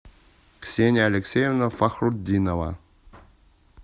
ксения алексеевна фахрутдинова